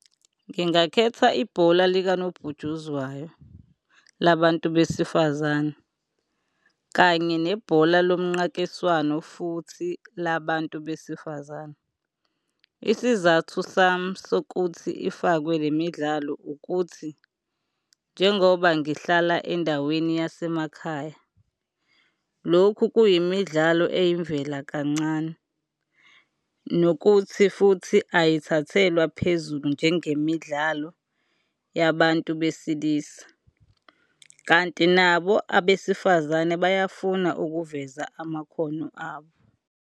Ngingakhetha ibhola likanobhutshuzwayo labantu besifazane kanye nebhola lomnqakiswano futhi la bantu besifazane. Isizathu sami sokuthi ifakwe le midlalo ukuthi, njengoba ngihlala endaweni yasemakhaya, lokhu kuyimidlalo eyimvela kancane, nokuthi futhi ayithathelwa phezulu njengemidlalo yabantu besilisa. Kanti nabo abesifazane bayafuna ukuveza amakhono abo.